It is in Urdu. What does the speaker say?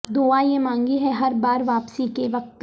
دعا یہ مانگی ہے ہر بار واپسی کے وقت